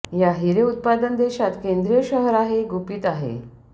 या हिरे उत्पादन देशात केंद्रीय शहर आहे गुपित आहे